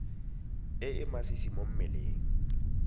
e e masisi mo mmeleng